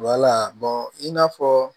i n'a fɔ